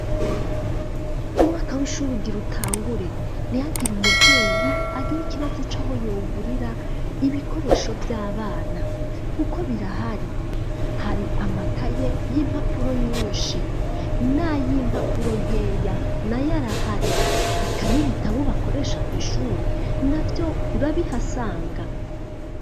Umwaka w'ishure ugira utagure, ntihagire umuvyeyi agira ikibazo aho yogurira ibikoresho vy'abana kuko birahari, hari amakaye y'impapuro nyinshi nay'impapuro nkeya nayo arahari, eka nibitabo bakoresha kw'ishure navyo urabihasaga.